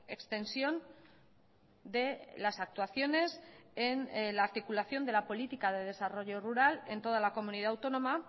extensión de las actuaciones en la articulación de la política de desarrollo rural en toda la comunidad autónoma